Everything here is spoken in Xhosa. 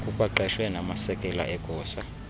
kukwaqeshwe namasekela egosa